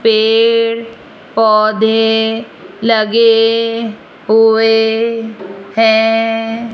पेड़ पौधे लगे हुए हैं।